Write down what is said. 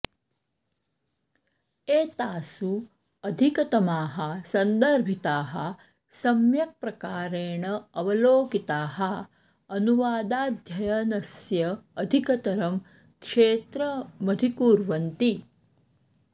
एतासु अधिकतमाः सन्दर्भिताः सम्यक् प्रकारेण अवलोकिताः अनुवादाध्ययनस्य अधिकतरं क्षेत्रमधिकुर्वन्ति